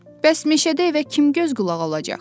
Bəs meşədə evə kim göz qulaq olacaq?